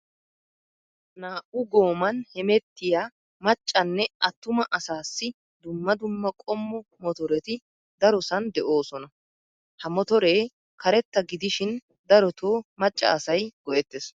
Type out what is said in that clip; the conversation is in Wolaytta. Naa'u gooman hemettiya maccanne atumaa asaassi dumma dumma qommo motoreti darosan de'oosona. Ha motoree karetta gidishin darotoo macca asayi go'ettes.